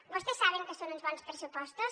vostès saben que són uns bons pressupostos